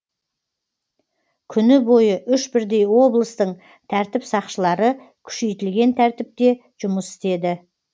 күні бойы үш бірдей облыстың тәртіп сақшылары күшейтілген тәртіпте жұмыс істеді